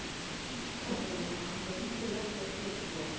okay வா அந்த detail லாம் நீ தெரிஞ்சு வச்சுக்கோ